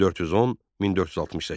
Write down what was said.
1410-1468.